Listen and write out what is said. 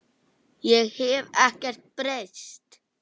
Ég hef ekkert breyst!